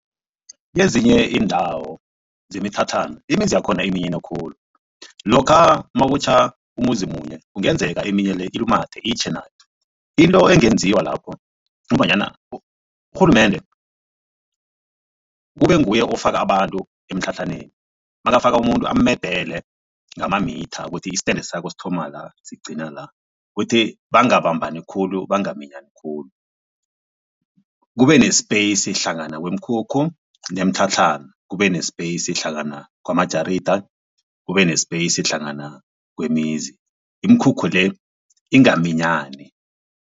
Kezinye iindawo zemitlhatlhana imizi yakhona iminyene khulu lokha nakutjha umuzi munye kungenzeka eminye le ilumathe itjhe nayo. Into engenziwa lapho urhulumende kube nguye ofaka abantu emitlhatlhaneni makafaka umuntu amedele ngamamitha ukuthi i-stand sakho sithoma la sigcina la, kuthi bangabambani khulu bangaminyani khulu. Kube ne-space hlangana kwemikhukhu nemitlhatlhana, kube ne-space hlangana kwamajarida, kube ne-space hlangana kwemizi imikhukhu le ingaminyani.